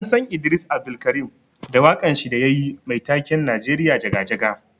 An San Idris Abdulkareem da wakan shi da yayi Mai taken 'Najeriya jaga jaga'.